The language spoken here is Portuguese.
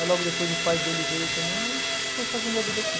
Aí logo depois o pai dele veio também aí foi fazendo a vida aqui.